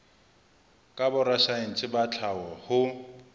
ka borasaense ba tlhaho ho